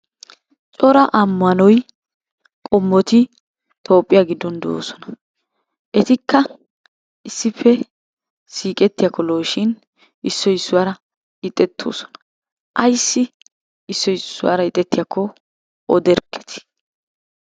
Cora ammanoy qommoti Toophphiya giddon de'oosona. Etikka issippe siiqqettiyakko lo"o shin issoy issuwara ixxettoosona. Ayssi issoy issuwara ixxettiyakko oderkketi.